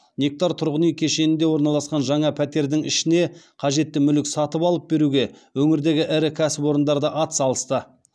нектар тұрғын үй кешенінде орналасқан жаңа пәтердің ішіне қажетті мүлік сатып алып беруге өңірдегі ірі кәсіпорындар да атсалысты